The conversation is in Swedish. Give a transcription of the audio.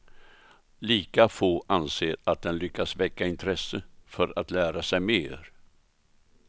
Lika få anser att den lyckas väcka intresse för att lära sig mer.